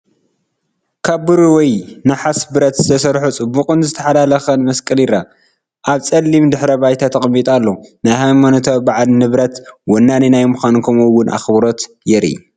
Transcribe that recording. ካብ ብሩር ወይ ናሓስ ብረት ዝተሰርሐ ጽቡቕን ዝተሓላለኸን መስቀል ይርአ። ኣብ ጸሊም ድሕረ ባይታ ተቐሚጡ ኣሎ። ናይ ሃይማኖታዊ ባዓል ንብረት ወናኒ ናይ ምዃን ከምኡ ውን ኣኽብሮትን የርኢ።